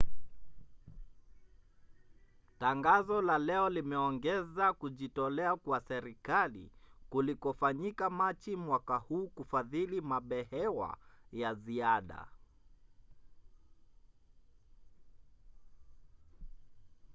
tangazo la leo limeongeza kujitolea kwa serikali kulikofanyika machi mwaka huu kufadhili mabehewa ya ziada